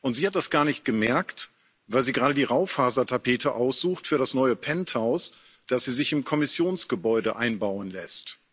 Und sie hat das gar nicht gemerkt, weil sie gerade die Raufasertapete aussucht für das neue Penthouse, das sie sich im Kommissionsgebäude einbauen lässt.